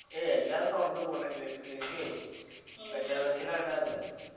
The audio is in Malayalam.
എ എല്ലാം തുടർന്ന് പോന്നിണ്ട് ക് കൃഷി level ആവുന്നുണ്ട്